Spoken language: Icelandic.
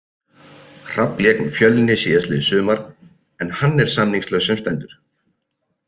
Hrafn lék með Fjölni síðastliðið sumar en hann er samningslaus sem stendur.